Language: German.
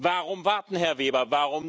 Warum warten, Herr Weber?